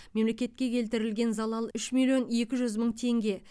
мемлекетке келтірілген залал үш миллион екі жүз мың теңге